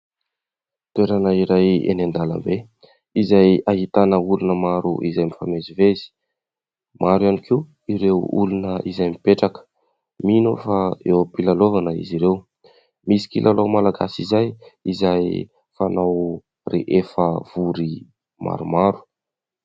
Toerana iray eny an-dalambe izay ahitana olona maro izay mifamezivezy, maro ihany koa ireo olona izay mipetraka, mino aho fa eo am-pilalaovana izy ireo, misy kilalao malagasy izay , izay fanao rehefa vory maromaro.